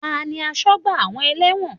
Tani asọ́gbà àwọn ẹlẹ́wọ̀n?